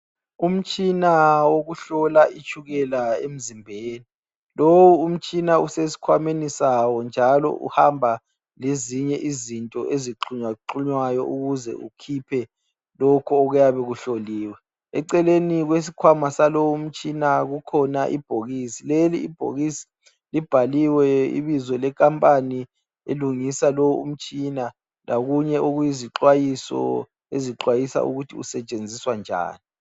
Umtshina wokuhlola itshukela emzimbeni, lowu mtshina usesikhwameni sawo njalo uhamba lezinye izinto eziqunywaqunywayo ukuze kukhiphe lokhu okuyabe kuhloliwe. Eceleni kwesikhwama saloyo mtshina kukhona Ibhokisi, leli ibhokisi libhaliwe ibizo le khampani elungisa lo umtshina lokunye okuyizixwayiso ezixwayisa ukuthi usetshenziswa njani.